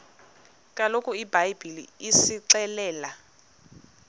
kaloku ibhayibhile isixelela